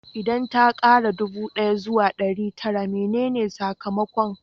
Idan ta kara ɗubu ɗaya zuwa ɗari tara menene sakamakon?